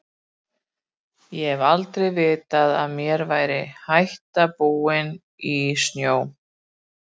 Ég hef aldrei vitað að mér væri hætta búin í snjó.